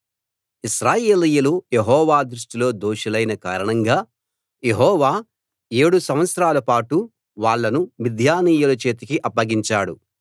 ఇశ్రాయేలీయులు యెహోవా దృష్టిలో దోషులైన కారణంగా యెహోవా ఏడు సంవత్సరాల పాటు వాళ్ళను మిద్యానీయుల చేతికి అప్పగించాడు